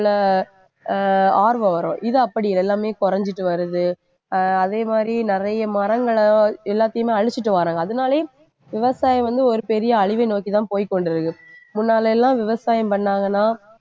அஹ் ஆர்வம் வரும். இது அப்படியில்லை. எல்லாமே குறைஞ்சிட்டு வருது. அஹ் அதே மாதிரி நிறைய மரங்களை எல்லாத்தையுமே அழிச்சிட்டு வர்றாங்க அதனாலேயே விவசாயம் வந்து ஒரு பெரிய அழிவை நோக்கிதான் போய்க்கொண்டிருக்கு. முன்னால எல்லாம் விவசாயம் பண்ணாங்கன்னா